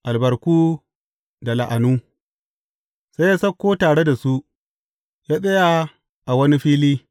Albarku da la’anu Sai ya sauko tare da su, ya tsaya a wani fili.